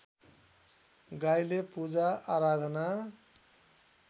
गाईले पूजाआराधना